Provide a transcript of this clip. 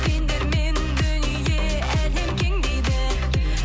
сендермен дүние әлем кең дейді